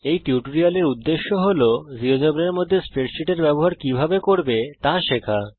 এই টিউটোরিয়ালের উদ্দেশ্য হল জীয়োজেব্রার মধ্যে স্প্রেডসীটের ব্যবহার কিভাবে করবে ত়া শেখা